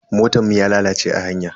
Motan mu ya lalace a hanya.